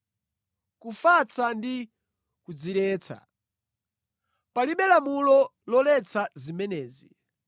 kufatsa ndi kudziretsa. Palibe lamulo loletsa zimenezi.